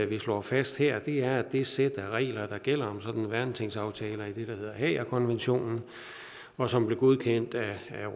vi slår fast her er at det sæt af regler der gælder om sådan nogle værnetingsaftaler i det der hedder haagerkonventionen og som blev godkendt af